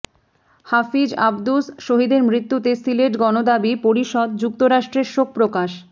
হাফিজ আব্দুস শহীদের মৃত্যুতে সিলেট গণদাবি পরিষদ যুক্তরাষ্ট্রের শোক প্রকাশ